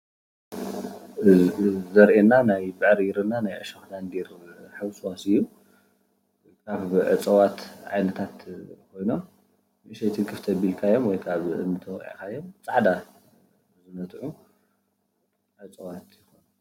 እዚ አርእየና ናይ ብዕሪርና ናይ እሾክ ዳንዴር ሕውስዋስ እዩ፡፡ ኣብ እፅዋት ዓይነታት ኮይኑ ንእሽተይ ትንክፍ ተቢልካዮም ወይ ከዓ ብእምኒ ተወቂዕካዮ ናይ ፃዕዳ ዝነትዑ እፅዋት እዮም፡፡